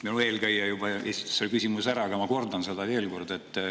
Minu eelkäija juba esitas selle küsimuse ära, aga ma kordan seda veel kord.